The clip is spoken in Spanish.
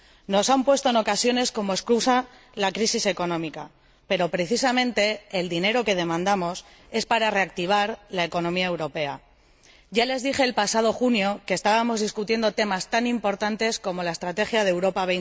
Nos han puesto en ocasiones como excusa la crisis económica pero, precisamente, el dinero que demandamos es para reactivar la economía europea. Ya les dije el pasado mes de junio que estábamos debatiendo temas tan importantes como la Estrategia Europa